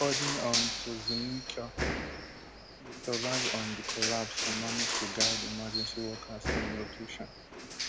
according um to zulinka im survive um di collapse and manage to guide emergency workers to im location